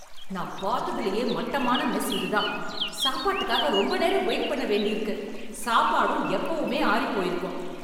நான் பாத்ததிலேயே மட்டமான மெஸ் இதுதான். சாப்பாட்டுக்காக ரொம்ப நேரம் வெயிட் பண்ண வேண்டியிருக்கு, சாப்பாடும் எப்பவுமே ஆறிப்போயிருக்கும்.